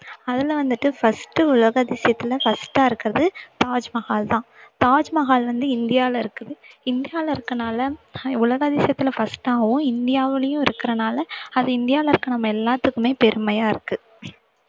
அதுல வந்துட்டு first உலக அதிசயத்துல first ஆ இருக்கிறது தாஜ்மஹால்தான் தாஜ்மஹால் வந்து இந்தியாவுல இருக்குது இந்தியாவுல இருக்கறதுனால உலக அதிசயத்துல first ஆவும் இந்தியாவுலயும் இருக்கறனால அது இந்தியாவுல இருக்கற நம்ம எல்லாத்துக்குமே பெருமையா இருக்கு